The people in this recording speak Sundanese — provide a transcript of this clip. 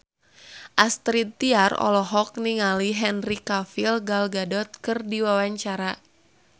Astrid Tiar olohok ningali Henry Cavill Gal Gadot keur diwawancara